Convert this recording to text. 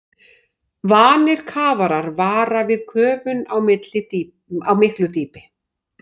Vanir kafarar vara við köfun á miklu dýpi.